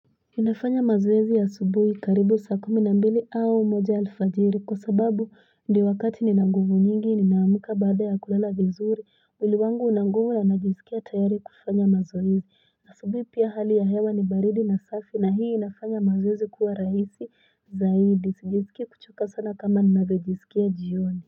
Nina fanya mazoezi asubuhi karibu saa kumi nambili au moja alfajiri kwa sababu Ndio wakati ni nanguvu nyingi ninaamka baada ya kulala vizuri mwili wangu una nguvu na najiskia tayari kufanya mazoezi na asubuhi pia hali ya hewa ni baridi na safi na hii ina fanya mazoezi kuwa rahisi zaidi Sijijiskii kuchoka sana kama ninavyojiskia jioni.